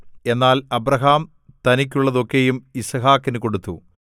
എന്നാൽ അബ്രാഹാം തനിക്കുള്ളതൊക്കെയും യിസ്ഹാക്കിനു കൊടുത്തു